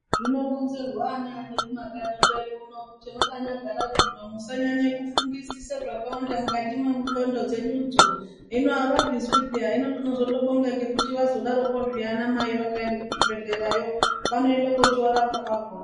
Zvironzerwa anani kumakanyi kwedu uno kuti zvamakanyagara zvino musanyanya kufungisa zvakawanda mukati mendlondo dzeyudzo hino avazvizwi peya hino tinozotobonga kuti vazodaroko anamai vakaenda kuzvibhedhlera vanochindorapwa kwachona.